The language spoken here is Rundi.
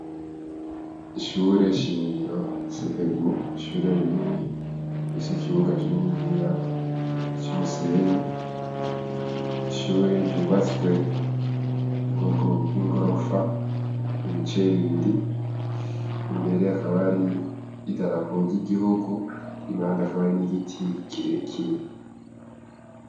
Ishure shingiro sepebu ishure rinini ise ikibuga kininiya cimusenyi ishure ryubatswe bwokobwo ingorofa ibicaye bibiri imbere akaba ari i darapo y'igihugu imanda akabari n’igiti kireke.